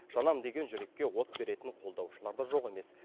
жанам деген жүрекке от беретін қолдаушылар да жоқ емес